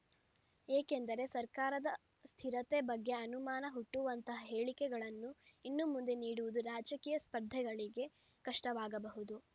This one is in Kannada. ಏಕೆಂದರೆ ಸರ್ಕಾರದ ಸ್ಥಿರತೆ ಬಗೆ ಅನುಮಾನ ಹುಟ್ಟುವಂತಹ ಹೇಳಿಕೆಗಳನ್ನು ಇನ್ನು ಮುಂದೆ ನೀಡುವುದು ರಾಜಕೀಯ ಸ್ಪರ್ಧಿಗಳಿಗೆ ಕಷ್ಟವಾಗಬಹುದು